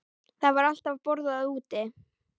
Það var alltaf borðað úti.